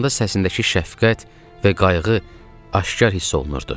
Danışanda səsindəki şəfqət və qayğı aşkar hiss olunurdu.